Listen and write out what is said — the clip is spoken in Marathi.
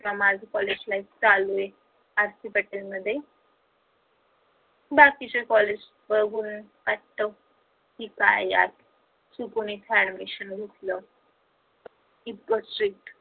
का माझ college life चालू आहे. r. c. patel मध्ये बाकीचे college बघून वाटत कि काय यार चुकून इथे admission घेतल